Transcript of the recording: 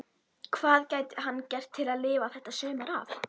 Hvað gæti hann gert til að lifa þetta sumar af?